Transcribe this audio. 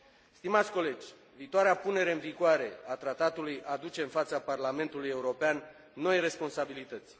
Stimați colegi, viitoarea punere în vigoare a tratatului aduce în fața Parlamentului European noi responsabilități.